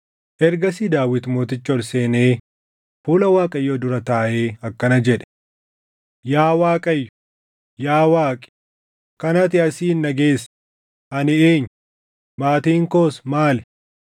Ergasii Daawit mootichi ol seenee fuula Waaqayyoo dura taaʼee akkana jedhe: “Yaa Waaqayyo, yaa Waaqi, kan ati asiin na geesse, ani eenyu? Maatiin koos maali?